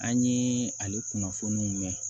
An ye ale kunnafoniw mɛn